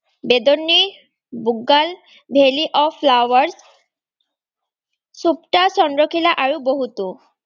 Bedni, Bugyal, valley of flowers সুপ্তা, চন্দ্ৰকিলা আৰু বহুতো।